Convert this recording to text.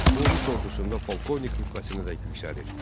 O rus ordusunda polkovnik rütbəsinədək yüksəlir.